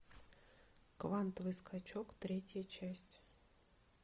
квантовый скачок третья часть